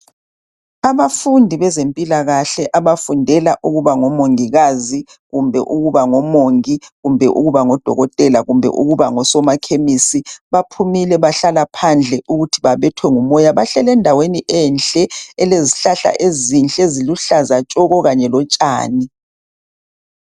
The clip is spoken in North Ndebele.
Abafundi bezempilakahle abafundela ukuba ngomongikazi kumbe ukuba omongi kumbe ukuba odokotela kumbe ukuba ngosomakemisi. Baphumile bahlala phandle ukuba babethwe ngumoya. Bahleli endaweni enhle elezihlahla ezinhleeziluhlaza tshoko kanye lotshani.